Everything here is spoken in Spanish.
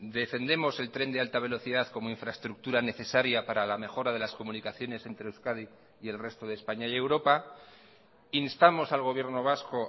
defendemos el tren de alta velocidad como infraestructura necesaria para la mejora de las comunicaciones entre euskadi y el resto de españa y europa instamos al gobierno vasco